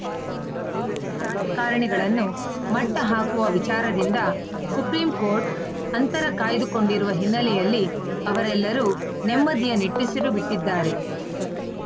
criminal ರಾಜಕಾರಣಿಗಳನ್ನು ಮಟ್ಟಹಾಕುವ ವಿಚಾರದಿಂದ ಸುಪ್ರೀಂಕೋರ್ಟ್‌ ಅಂತರ ಕಾಯ್ದುಕೊಂಡಿರುವ ಹಿನ್ನೆಲೆಯಲ್ಲಿ ಅವರೆಲ್ಲರೂ ನೆಮ್ಮದಿಯ ನಿಟ್ಟುಸಿರು ಬಿಟ್ಟಿದ್ದಾರೆ